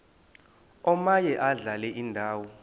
omaye adlale indawo